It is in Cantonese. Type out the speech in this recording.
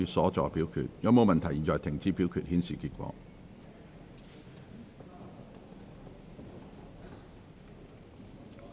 如果沒有問題，現在停止表決，顯示結果。